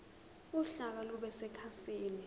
uhlaka lube sekhasini